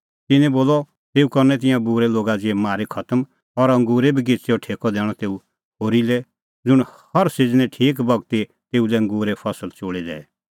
तिन्नैं बोलअ तेऊ करनै तिंयां बूरै लोगा ज़िहै मारी खतम और अंगूरे बगिच़ेओ ठेकअ दैणअ तेऊ होरी लै ज़ुंण हर सिज़नै ठीक बगती तेऊ लै अंगूरे फसल चोल़ी दैए